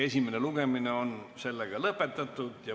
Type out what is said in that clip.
Esimene lugemine on lõpetatud.